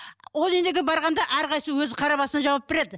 о дүниеге барғанда әрқайсысы өзі қара басына жауап береді